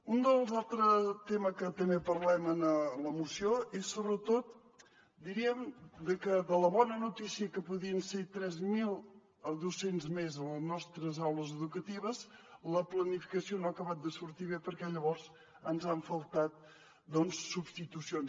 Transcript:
un dels altres temes de què també parlem en la moció és sobretot diríem que de la bona notícia que podrien ser tres mil docents més a les nostres aules educatives la planificació no ha acabat de sortir bé perquè llavors ens han faltat substitucions